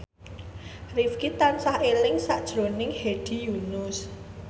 Rifqi tansah eling sakjroning Hedi Yunus